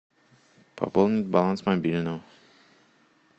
пополнить баланс мобильного